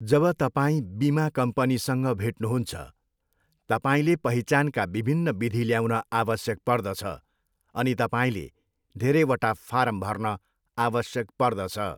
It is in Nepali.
जब तपाईँ बिमा कम्पनीसँग भेट्नुहुन्छ, तपाईँले पहिचानका विभिन्न विधि ल्याउन आवश्यक पर्दछ अनि तपाईँले धेरैवटा फारम भर्न आवश्यक पर्दछ।